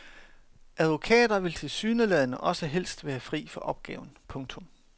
Advokater vil tilsyneladende også helst være fri for opgaven. punktum